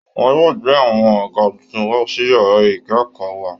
Wọn yóò gbé àwọn àga tuntun wá sí yàrá ìkẹ́kọ̀ọ́ wa